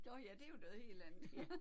Nåh ja det er jo noget helt andet